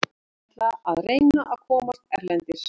Ég ætla að reyna að komast erlendis.